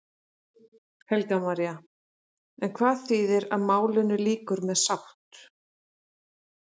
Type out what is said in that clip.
Helga María: En hvað þýðir að málinu lýkur með sátt?